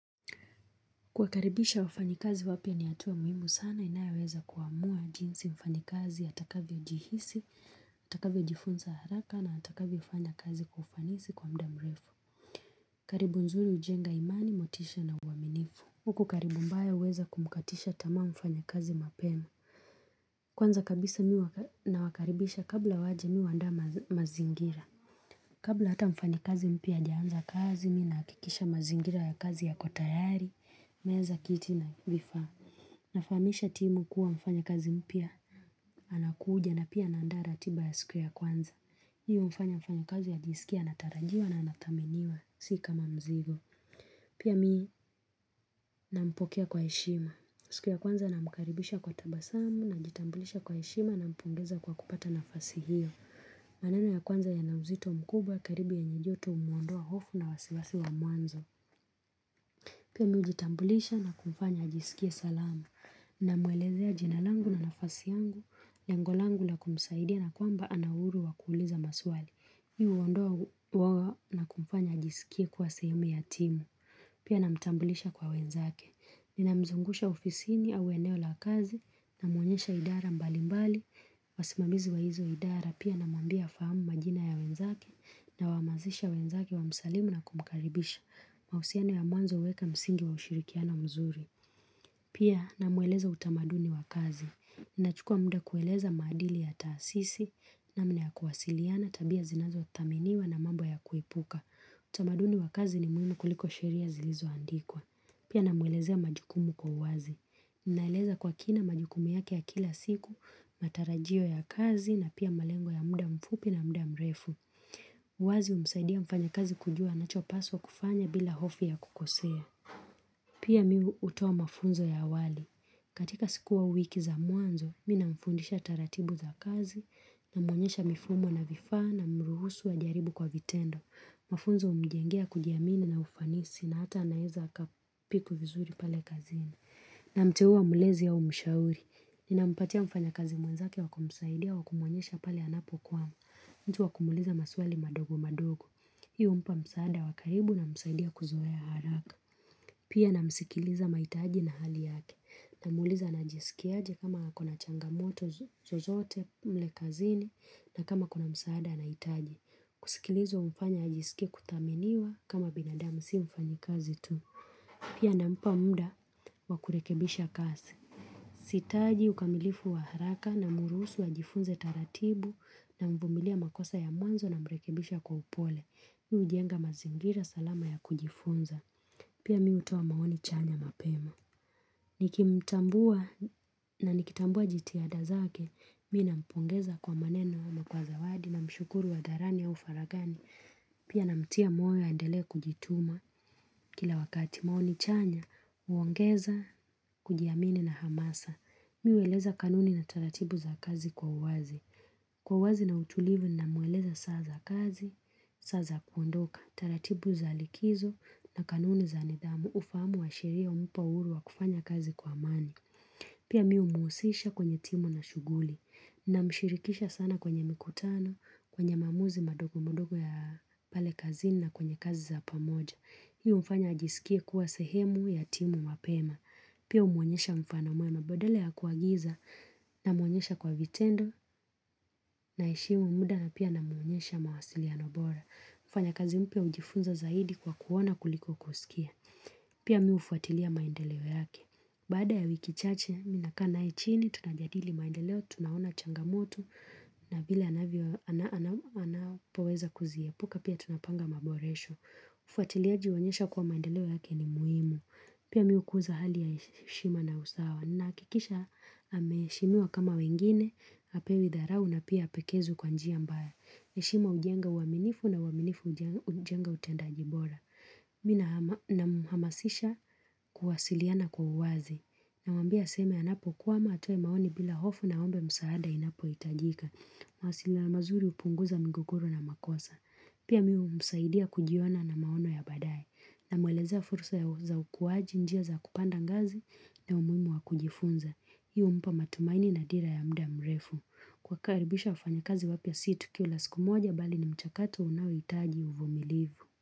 Kuwakaribisha wafanyikazi wapya ni hatuwa muhimu sana inayoweza kuamua jinsi mfanyikazi atakavyo jihisi, atakavyo jifunza haraka na atakavyo fanya kazi kwa ufanisi kwa muda mrefu karibu nzuri ujenga imani, motisha na uwaminifu. Huku ukaribu mbaya huweza kumkatisha tamaa mfanyakazi mapema. Kwanza kabisa mimi nawakaribisha kabla waje mimi huandaa mazingira Kabla hata mfanyikazi mpya hajaanza kazi, mimi ninahakikisha mazingira ya kazi yako tayari, meza, kiti na vifaa. Nafahamisha timu kuwa mfanyakazi mpya anakuja na pia naandaa ratiba ya siku ya kwanza. Mimi hufanya mfanyakazi ajisikie anatarajiwa na anadhaminiwa, sio kama mzigo. Pia mimi nampokea kwa heshima. Siku ya kwanza namkaribisha kwa tabasamu, najitambulisha kwa heshima, nampongeza kwa kupata nafasi hiyo. Maneno ya kwanza yana uzito mkubwa karibu yenye joto humwondoa hofu na wasiwasi wa mwanzo. Pia mimi hujitambulisha na kumfanya ajisikie salama. Namwelezea jina langu na nafasi yangu, lengo langu la kumsaidia na kwamba ana uhuru wa kuuliza maswali. Hii huondoa uoga na kumfanya ajisikie kuwa sehemu ya timu. Pia namtambulisha kwa wenzake. Ninamzungusha ofisini au eneo la kazi, namuonyesha idara mbalimbali, wasimamizi wa hizo idara pia namwambia afahamu majina ya wenzake nawahamasisha wenzake wamsalimu na kumkaribisha. Mahusiano ya mwanzo huweka msingi wa ushirikiano mzuri Pia namweleza utamaduni wa kazi. Nachukua muda kueleza maadili ya taasisi, namna ya kuwasiliana, tabia zinazo dhaminiwa na mambo ya kuepuka utamaduni wa kazi ni muhimu kuliko sheria zilizoandikwa. Pia namueleza majukumu kwa uwazi Naeleza kwa kina majukumi yake ya kila siku, matarajio ya kazi na pia malengo ya muda mfupi na muda mrefu uwazi humsaidia mfanyakazi kujua anachopaswa kufanya bila hofu ya kukosea Pia mimi hutoa mafunzo ya awali. Katika siku au wiki za mwanzo, mimi namfundisha taratibu za kazi, namwonyesha mifumo na vifaa, namruhusu ajaribu kwa vitendo Mafunzo humjengea kujiamini na ufanisi na hata anaweza aka-pick vizuri pale kazini Namteuwa mlezi au mshauri, ninampatia mfanyakazi mwenzake wa kumsaidia, wakumuonyesha pale anapokwama mtu wa kumuuliza maswali madogo madogo. Hii humpa msaada wa karibu na kumsaidia kuzoea haraka. Pia namsikiliza mahitaji na hali yake. Namuuliza anajisikiaje ama ako na changamoto zozote mle kazini na kama akona msaada nahitaji. Kusikilizwa humfanya ajisikie kudhaminiwa kama binadamu si mfanyikazi tu. Pia nampa muda wa kurekebisha kazi. Sihitaji ukamilifu wa haraka namruhusu ajifunze taratibu namvumilia makosa ya mwanzo namrekebisha kwa upole. Mimi hujenga mazingira salama ya kujifunza. Pia mimi hutoa maoni chanya mapema. Nikimtambua na nikitambua jitihada zake, mimi nampongeza kwa maneno ama kwa zawadi na mshukuru hadharani au faraghani. Pia namtia moyo aendelee kujituma kila wakati maoni chanya, huongeza kujiamini na hamasa. Mimi hueleza kanuni na taratibu za kazi kwa uwazi. Kwa uwazi na utulivu namweleza saa za kazi, saa za kuondoka. Taratibu za likizo na kanuni za nidhamu huku ufamu wa sheria humpa uhuru wa kufanya kazi kwa amani. Pia mimi hmuusisha kwenye timu na shughuli. Na mshirikisha sana kwenye mikutano, kwenye maamuzi madogo madogo ya pale kazini na kwenye kazi za pamoja. Mimi humfanya ajisike kuwa sehemu ya timu mapema. Pia humuonyesha mfano mwema, badala ya kuagiza namwonyesha kwa vitendo naheshimu muda na pia namwonyesha mawasiliano bora. Mfanyakazi mpya hujifunza zaidi kwa kuona kuliko kusikia. Pia mimi hufuatilia maendeleo yake. Baada ya wiki chache, mimi nakaa naye chini, tunajadili maendeleo, tunaona changamoto, na vile anapoweza kuziepuka pia tunapanga maboresho. Ufuatiliaji huonyesha kuwa maendeleo yake ni muhimu, pia mimi hukuza hali ya heshima na usawa, nahakikisha ameheshimiwa kama wengine, hapewi dharao na pia hapekezwi kwa njia mbaya. Heshima hujenga uwaminifu na uwaminifu hujenga utendaji bora. Mimi namhamasisha kuwasiliana kwa uwazi. Namwambia aseme anapokwama, atoe maoni bila hofu na aombe msaada inapo hitajika. Mawasiliano mazuri hupunguza migogoro na makosa. Pia mimi humsaidia kujiona na maono ya badaye. Namwelezea furusa za ukuwaji, njia za kupanda ngazi na umuhimu wa kujifunza. Pia humpa matumaini na dira ya muda mrefu. Kuwakaribisha wafanyakazi wapya si tukio la siku moja mbali ni mchakato unaohitaji uvumilivu.